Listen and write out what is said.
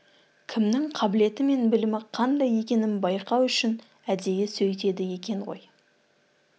кімнің қабілеті мен білімі қандай екенін байқау үшін әдейі сөйтеді екен ғой